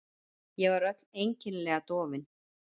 Ég var öll einkennilega dofin.